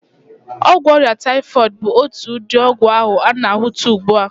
Ọgwụ ọrịa taịfọịdị bụ otu ụdị ọgwụ a na-ahụta ụgbụ a.